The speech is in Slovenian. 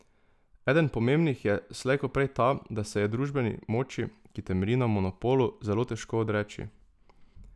Eden pomembnih je slej ko prej ta, da se je družbeni moči, ki temelji na monopolu, zelo težko odreči.